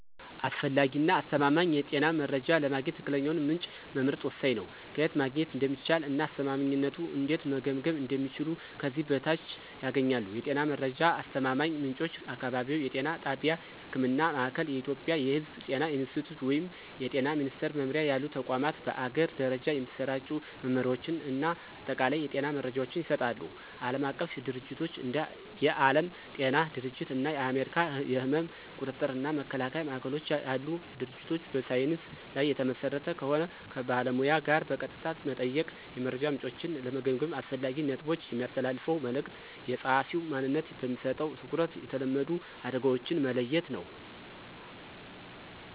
አስፈላጊ እና አስተማማኝ የጤና መረጃ ለማግኘት ትክክለኛውን ምንጭ መምረጥ ወሳኝ ነው። ከየት ማግኘት እንደሚቻል እና አስተማማኝነቱን እንዴት መገምገም እንደሚችሉ ከዚህ በታች ያገኛሉ። የጤና መረጃ አስተማማኝ ምንጮች · አካባቢያዊ የጤና ጣቢያ (ህክምና ማእከል። ኢትዮጵያ የሕዝብ ጤና ኢንስቲትዩት ወይም የጤና ሚኒስትር መምሪያ ያሉ ተቋማት በአገር ደረጃ የሚሰራጩ መመሪያዎችን እና አጠቃላይ የጤና መረጃዎችን ይሰጣሉ። ዓለም አቀፍ ድርጅቶች እንደ የዓለም ጤና ድርጅት እና የአሜሪካ የሕመም ቁጥጥር እና መከላከያ ማዕከሎች ያሉ ድርጅቶች በሳይንስ ላይ የተመሰረተ ከሆን። ከባለሙያ ጋር በቀጥታ መጠየቅ። የመረጃ ምንጮችን ለመገምገም አስፈላጊ ነጥቦች። የሚያስተላልፈው መልዕክት፣ የጸሐፊው ማንነት፣ በሚሰጠው ትኩረት፣ የተለመዱ አደጋዎችን መለየት ነው።